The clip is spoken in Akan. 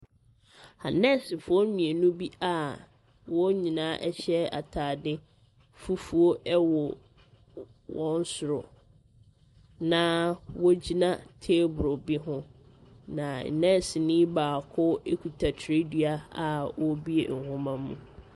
Anɛsfoɔ mmienu bi a wɔn nyinaa ɛhyɛ ataade fufuo ɛwo wɔn soro, na wo gyina table bi ho. na nɛsnii baako kuta kyerɛdua a ɔrebue nwoma mu.